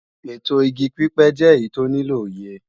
ètò igi pípẹ́ jẹ́ èyí tó nílò òye